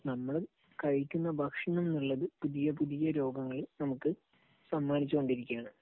നമ്മള് കഴിക്കുന്ന ഭക്ഷണം എന്നുള്ളത് പുതിയ പുതിയ ഓരോ രോഗങ്ങൾ നമുക്ക് സമ്മാനിച്ചുകൊണ്ടിരിക്കുകയാണ്.